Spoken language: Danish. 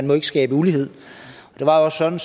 må skabe ulighed det var også sådan